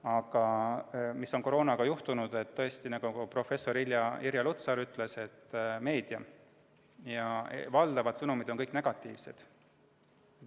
Aga koroona puhul on juhtunud tõesti see, nagu professor Irja Lutsar ütles, et meedias on kõik sõnumid valdavalt negatiivsed.